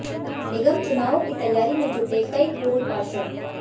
निगम चुनावों की तैयारी में जुटे कई पूर्व पार्षद